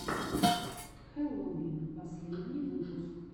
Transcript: хэллоувин последний выпуск